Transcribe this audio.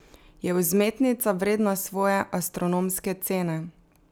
Je vzmetnica vredna svoje astronomske cene?